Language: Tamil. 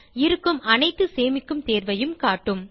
இருக்கும் அனைத்து சேமிக்கும் தேர்வையும் காட்டும்